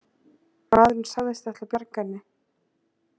Maðurinn sagðist ætla að bjarga henni